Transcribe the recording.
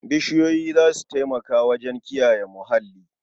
Bishiyoyi za su taimaka wajen kiyaye muhalli.